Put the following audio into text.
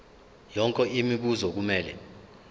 yonke imibuzo kumele